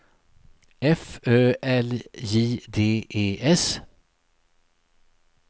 F Ö L J D E S